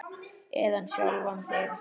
Eða sjálfan þig.